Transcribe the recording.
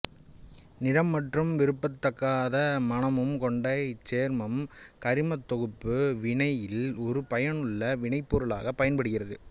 நிறமற்றும் விரும்பத்தகாத மணமும் கொண்ட இச்சேர்மம் கரிமத் தொகுப்பு வினையில் ஒரு பயனுள்ள வினைப்பொருளாக பயன்படுகிறது